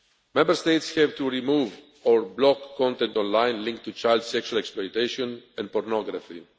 Member States have to remove, or block, content online linked to child sexual exploitation and pornography.